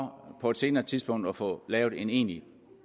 på et senere tidspunkt at få lavet en egentlig